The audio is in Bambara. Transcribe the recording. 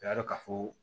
O y'a dɔn ka fɔ ko